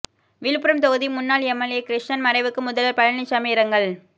விழுப்புரம் தொகுதி முன்னாள் எம்எல்ஏ கிருஷ்ணன் மறைவுக்கு முதல்வர் பழனிசாமி இரங்கல்